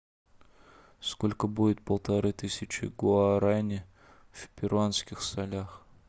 сколько будет полторы тысячи гуарани в перуанских солях